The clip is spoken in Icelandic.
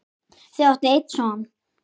Þau áttu einn son.